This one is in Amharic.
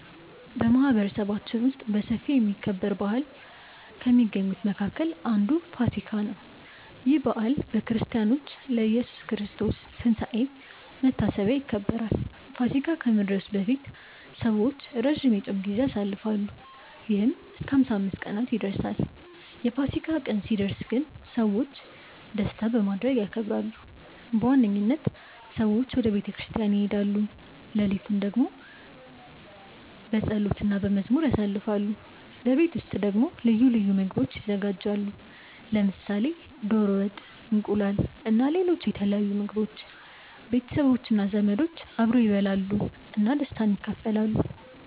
በማህበረሰባችን ውስጥ በሰፊ የሚከበር በዓል ከሚገኙት መካከል አንዱ ፋሲካ (ኢስተር) ነው። ይህ በዓል በክርስቲያኖች ለኢየሱስ ክርስቶስ ትንሳኤ መታሰቢያ ይከበራል። ፋሲካ ከመድረሱ በፊት ሰዎች ረጅም የጾም ጊዜ ያሳልፋሉ፣ ይህም እስከ 55 ቀናት ይደርሳል። የፋሲካ ቀን ሲደርስ ግን ሰዎች ደስታ በማድረግ ያከብራሉ። በዋነኝነት ሰዎች ወደ ቤተ ክርስቲያን ይሄዳሉ፣ ሌሊቱን በጸሎት እና በመዝሙር ያሳልፋሉ። በቤት ውስጥ ደግሞ ልዩ ምግቦች ይዘጋጃሉ፣ ለምሳሌ ዶሮ ወጥ፣ እንቁላል እና ሌሎች የተለያዩ ምግቦች። ቤተሰቦች እና ዘመዶች አብረው ይበላሉ እና ደስታን ይካፈላሉ።